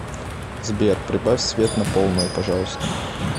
сбер прибавь свет на полную пожалуйста